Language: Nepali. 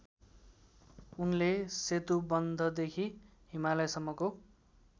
उनले सेतुबन्धदेखि हिमालयसम्मको